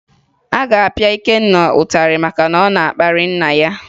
A ga-apịa Ikenna ịtarị maka na ọ na-akparị nna ya